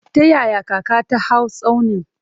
Ta yaya kaka ta hau tsaunin?